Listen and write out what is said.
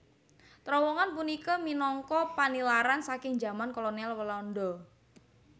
Trowongan punika minangka panilaran saking jaman kolonial Walanda